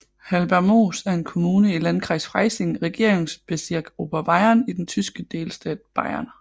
Hallbergmoos er en kommune i i Landkreis Freising Regierungsbezirk Oberbayern i den tyske delstat Bayern